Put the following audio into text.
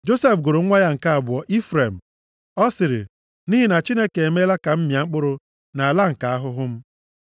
Josef gụrụ nwa ya nke abụọ Ifrem. + 41:52 Ifrem pụtara Ụba. Ọ sịrị, “Nʼihi na Chineke emeela ka m mịa mkpụrụ nʼala nke ahụhụ m.”